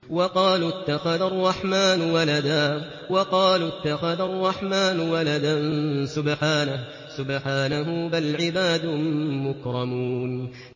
وَقَالُوا اتَّخَذَ الرَّحْمَٰنُ وَلَدًا ۗ سُبْحَانَهُ ۚ بَلْ عِبَادٌ مُّكْرَمُونَ